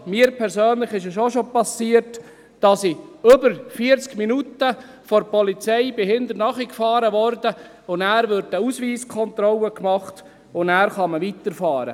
Mir persönlich ist es auch schon passiert, dass mir die Polizei über 40 Minuten hinterherfuhr, und nachher wird eine Ausweiskontrolle gemacht, und dann kann man weiterfahren.